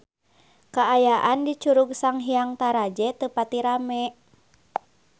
Kaayaan di Curug Sanghyang Taraje teu pati rame